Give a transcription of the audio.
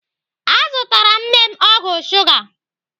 Azụtara m nne m ọgwụ shuga.